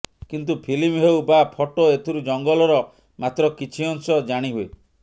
କିନ୍ତୁ ଫିଲ୍ମ ହେଉ ବା ଫଟୋ ଏଥିରୁ ଜଙ୍ଗଲର ମାତ୍ର କିଛି ଅଂଶ ଜାଣିହୁଏ